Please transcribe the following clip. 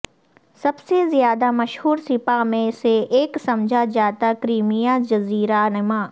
سب سے زیادہ مشہور سپا میں سے ایک سمجھا جاتا کریمیا جزیرہ نما